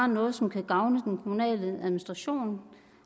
noget som kan gavne den kommunale administration